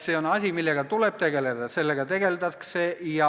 See on asi, millega tuleb tegelda ja millega tegeldaksegi.